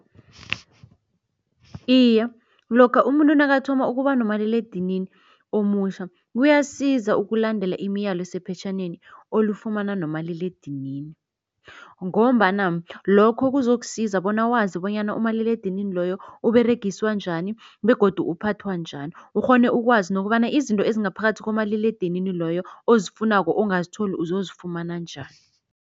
Iye, lokha umuntu nakathoma ukuba nomaliledinini omutjha kuyasiza ukulandela imiyalo esephetjhaneni olifumana nomaliledinini. Ngombana lokho kuzokusiza bona wazi bonyana umaliledinini loyo Uberegiswa njani begodu uphathwa njani, ukghone ukwazi nokobana izinto ezingaphakathi komaliledinini loyo ozifunako ongazitholi uzozifumana njani.